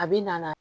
A bi na